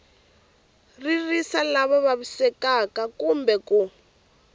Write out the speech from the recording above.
ririsa lava vavisekaka kumbe ku